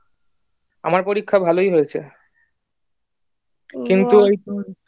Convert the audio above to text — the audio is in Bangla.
আমার পরিক্ষা ভালই হয়েছে কিন্তু ওই ধর